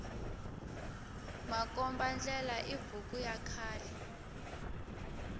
makomba ndlela i buku ya khale